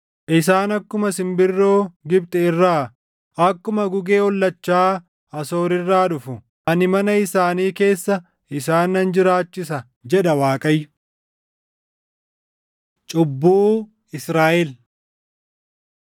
Isaan akkuma simbirroo Gibxi irraa, akkuma gugee ollachaa Asoor irraa dhufu. Ani mana isaanii keessa isaan nan jiraachisa” jedha Waaqayyo. Cubbuu Israaʼel